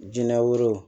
Jinɛ woro